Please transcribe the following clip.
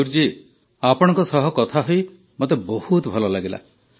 ମୟୂର ଆପଣଙ୍କ ସହ କଥା ହୋଇ ମୋତେ ବହୁତ ଭଲ ଲାଗିଲା